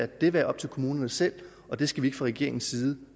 det være op til kommunerne selv det skal vi fra regeringens side